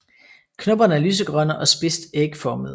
Knopperne er lysegrønne og spidst ægformede